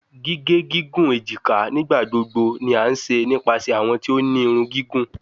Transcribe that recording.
Gige gigun ejika nigbagbogbo ni a ṣe nipasẹ awọn ti o ni irun gigun